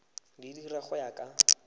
di dira go ya ka